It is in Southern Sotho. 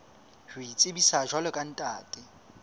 ho itsebisa jwalo ka ntate